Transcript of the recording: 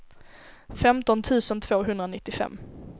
femton tusen tvåhundranittiofem